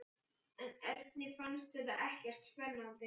En Erni fannst þetta ekkert spennandi.